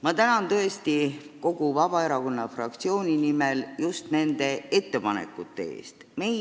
Ma tänan teid tõesti kogu Vabaerakonna fraktsiooni nimel just nende ettepanekute eest!